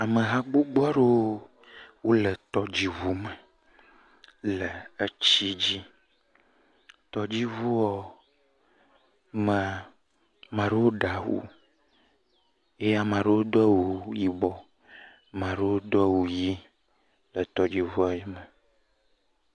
Ameha gbɔgbɔ aɖewo le tɔdziʋu me le etsi dzi. Tɔdziʋua me, ma ɖewo ɖe awu eye ame aɖewo do awu yibɔ. Ma ɖewo Do awu ɣi le tɔdziʋua me.